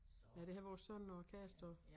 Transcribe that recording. Ja det har vores søn og kæreste også